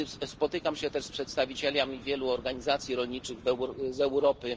Spotykam się też z przedstawicielami wielu organizacji rolniczych z Europy.